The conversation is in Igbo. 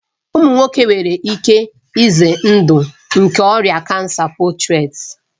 Ụmụ nwoke nwere ihe ize ndụ nke ọrịa kansa postireti